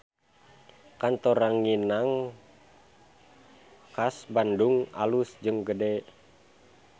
Kantor Ranginang Khas Bandung alus jeung gede